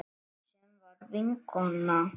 Sem var vinkona mín.